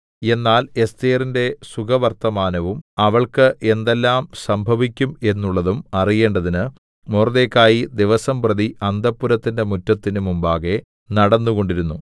എന്നാൽ എസ്ഥേരിന്റെ സുഖവർത്തമാനവും അവൾക്ക് എന്തെല്ലാം സംഭവിക്കും എന്നുള്ളതും അറിയേണ്ടതിന് മൊർദെഖായി ദിവസംപ്രതി അന്തഃപുരത്തിന്റെ മുറ്റത്തിന് മുമ്പാകെ നടന്നുകൊണ്ടിരുന്നു